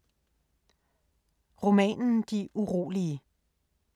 Romanen De urolige